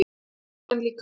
Með fullorðinn líkama.